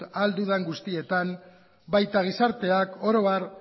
ahal dudan guztietan baita gizarteak oro har